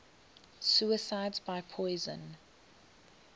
suicides by poison